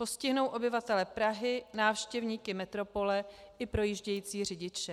Postihnou obyvatele Prahy, návštěvníky metropole i projíždějící řidiče.